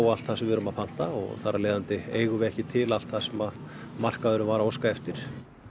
allt sem við pöntum og þar af eigum við ekki til allt sem markaðurinn var að óska eftir